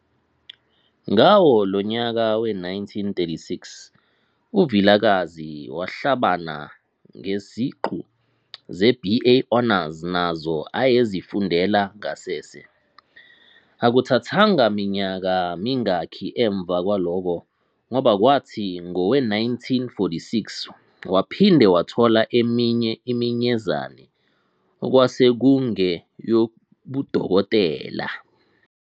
Ngawo lo nyaka we-1936 uVilakazi wahlabana ngeziqu zeBA Honours nazo ayezifundela ngasese. Akuthathanga minyaka mingaki emva kwalokho, ngoba kwathi ngowe-1946 waphinde wathola eminye iminyezane okwasekungeyobuDokotela.